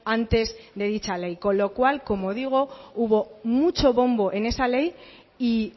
antes de dicha ley con lo cual como digo hubo mucho bombo en esa ley y